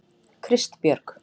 Kristbjörg